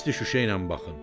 hissli şüşə ilə baxın.